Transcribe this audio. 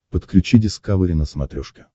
подключи дискавери на смотрешке